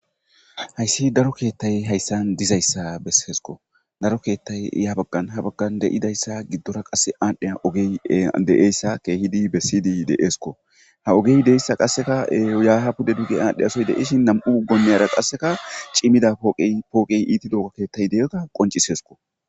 .haysi Daro keetay haysan dizaysa besesko, daro keetay ya began ha bagan de'idysa godora qase adhiya ogey de'iyaysa keehid besid de'esko, ha ogey diyaysa qaseka ya ha pude bidi adhiyasoy de'ishn nam'u miyiyara qase cimidaga keethay pooqey diyaysa qoncisesko